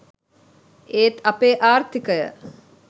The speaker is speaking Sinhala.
ඒත් අපේ ආර්ථිකය